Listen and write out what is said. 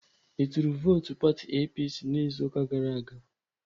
Ị tụrụ vootu pati APC n'izuụka gara aga?